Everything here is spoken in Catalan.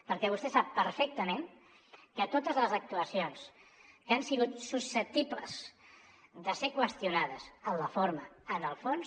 perquè vostè sap perfectament que totes les actuacions que han sigut susceptibles de ser qüestionades en la forma en el fons